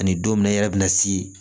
Ani don min na i yɛrɛ bi na si